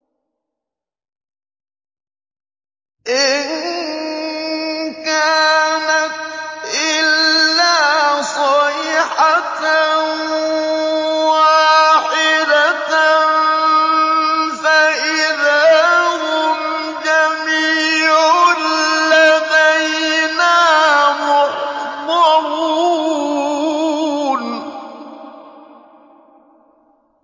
إِن كَانَتْ إِلَّا صَيْحَةً وَاحِدَةً فَإِذَا هُمْ جَمِيعٌ لَّدَيْنَا مُحْضَرُونَ